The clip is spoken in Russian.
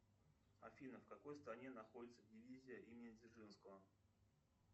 афина в какой стране находится дивизия имени дзержинского